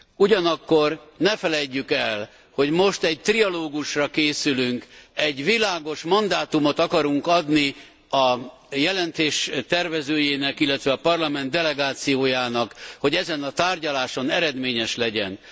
Ugyanakkor ne feledjük el, hogy most egy trialógusra készülünk, egy világos mandátumot akarunk adni a jelentés tervezőjének, illetve a Parlament delegációjának, hogy ezen a tárgyaláson eredményes legyen.